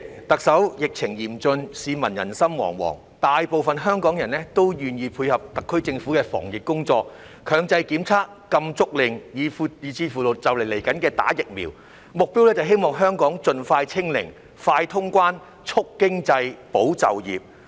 特首，疫情嚴峻，市民人心惶惶，大部分香港人都願意配合特區政府的防疫工作——強制檢測、禁足令，以至快將進行的疫苗接種，目標是希望香港盡快"清零"，快通關，促經濟，保就業。